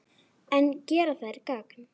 En gera þær gagn?